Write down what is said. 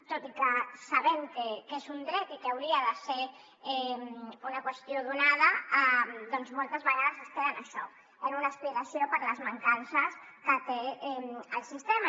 tot i que sabem que és un dret i que hauria de ser una qüestió donada doncs moltes vegades es queda en això en una aspiració per les mancances que té el sistema